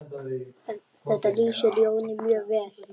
Þetta lýsir Jóni mjög vel.